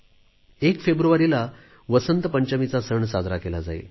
1 फेब्रुवारीला वसंत पंचमीचा सण साजरा केला जाईल